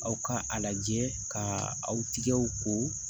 Aw ka a lajɛ ka aw tigɛw ko